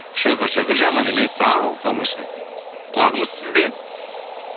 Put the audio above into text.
шүкір шүкір жаман емес ал тамаша құлағымыз сізде